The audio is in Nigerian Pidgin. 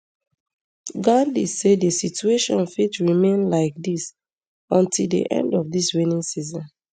gandi say di situation fit remain like dis until di end of di rainy season